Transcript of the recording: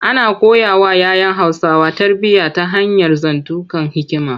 Ana koyawa ‘ya ‘yan Hausawa tarbiyya ta hanyar zantukan hikima.